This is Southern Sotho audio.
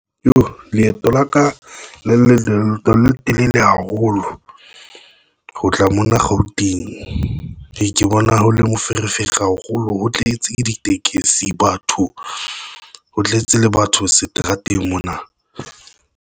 Leeto la ka le leng le leeto le le telele haholo ho tla mona Gauteng ke bona ho le moferefere haholo, O tletse ditekesi, batho, ho tletse le batho seterateng mona.